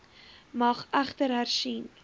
mag egter hersien